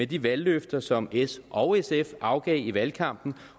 de valgløfter som s og sf afgav i valgkampen